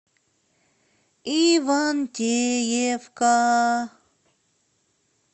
ивантеевка